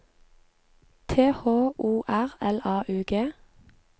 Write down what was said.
T H O R L A U G